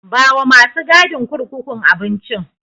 Bawa masu gadin kurkukun abincin.